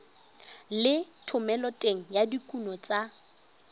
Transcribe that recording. le thomeloteng ya dikuno tsa